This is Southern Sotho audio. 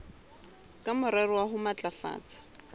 ka morero wa ho matlafatsa